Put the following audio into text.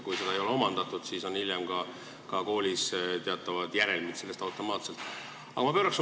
Kui seda ei ole omandatud, siis tekivad koolis hiljem sellest automaatselt teatavad järelmid.